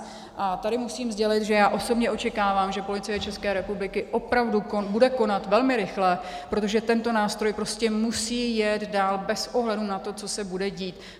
A tady musím sdělit, že já osobně očekávám, že Policie České republiky opravdu bude konat velmi rychle, protože tento nástroj prostě musí jet dál bez ohledu na to, co se bude dít.